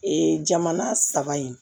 Ee jamana saba in